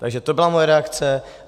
Takže to byla moje reakce.